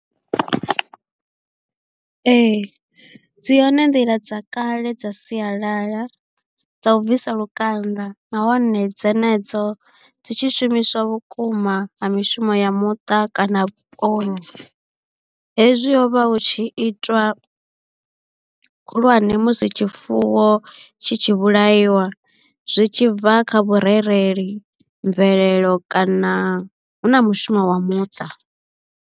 Ee dzi hone nḓila dza kale dza sialala dza u bvisa lukanda nahone dzenedzo dzi tshi shumiswa vhukuma ha mishumo ya muṱa kana vhuponi hezwi ho vha hu tshi itwa khulwane musi tshifuwo tshi tshi vhulaiwa zwi tshi bva kha vhurereli, mvelelo kana hu na mushumo wa muṱa.